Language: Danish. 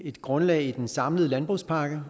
et grundlag i den samlede landbrugspakke